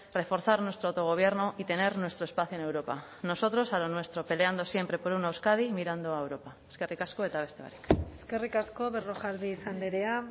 reforzar nuestro autogobierno y tener nuestro espacio en europa nosotros a lo nuestro peleando siempre por una euskadi mirando a europa eskerrik asko eta beste barik eskerrik asko berrojalbiz andrea